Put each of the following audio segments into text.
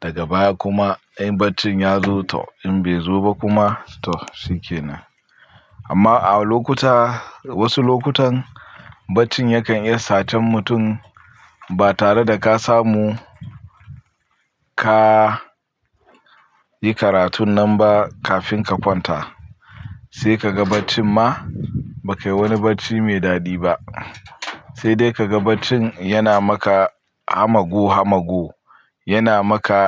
Daga baya kuma in barcin ya zo toh, in bai zo ba kuma toh shikinan. Amma a lokuta, wasu lokutan barcin yakan iya satar mutum ba tare da ka samu ka yi karatun nan ba kafin ka kwanta. Sai ka ga barcin ma ba kai wani barci mai daɗi ba. Sai dai ka ga barcin yana maka hamagu hamagu, yana maka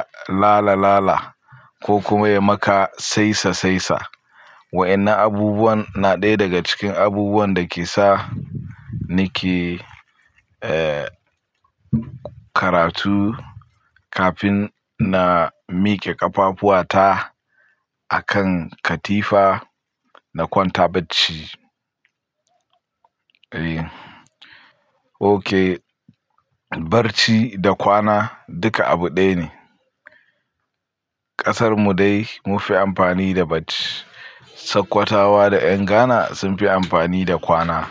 lala lala ko kuma ya maka saisa saisa. Wa'innan abubuwan na ɗaya daga cikin abubuwan da ke sa ni ke, eh, karatu kafin na mike ƙafafuata a kan katifa na kwanta bacci. Eh, oke, barci da kwana duka abu ɗaya ne. Ƙasarmu dai mun fi amfani da barci. Sokotawa da ƴan Ghana sun fi amfani da kwana.